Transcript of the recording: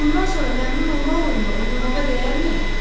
Bundan sonra məmnunolma oyununu oynamağa dəyərmi?